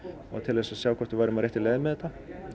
og til þess að sjá hvort við værum á réttri leið með þetta